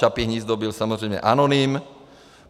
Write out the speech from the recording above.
Čapí hnízdo byl samozřejmě anonym.